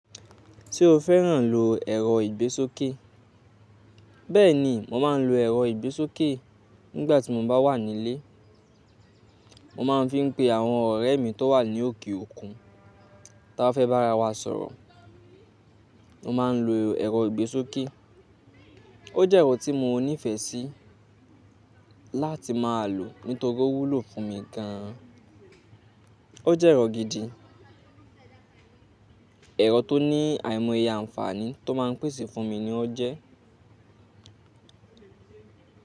Tí o fẹ́ràn lo ẹ̀rọ ìgbésókè. Bẹ́ẹ̀ni, mo máa ń lo ẹ̀rọ ìgbésókè nígbà tí mo bá wà nílé. Mo máa ń fi pé àwọn ọ̀rẹ́ mi tó wà ní òkè òkun tí a fẹ́ bá ara wa sọ̀rọ̀. Mo máa ń lo ẹ̀rọ ìgbésókè. Ó jẹ́ ẹ̀rọ tí mo nífẹ̀ẹ́ sí láti máa lò nítorí ó wúlò fún mi gan an. Ó jẹ́ ẹ̀rọ gidi, ẹ̀rọ tó ní àìmọye àǹfààní tó máa ń pèsè fún mi ni ó jẹ́